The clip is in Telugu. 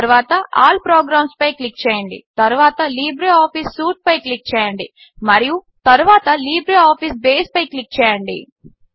తరువాత ఆల్ ప్రోగ్రాంస్పై క్లిక్ చేయండి తరువాత లిబ్రేఆఫీస్ సూట్ పై క్లిక్ చేయండి మరియు తరువాత లిబ్రేఆఫీస్ బేస్పై క్లిక్ చేయండి